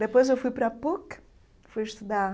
Depois eu fui para a PUC, fui estudar